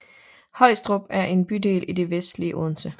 Højstrup er en bydel i det vestlige Odense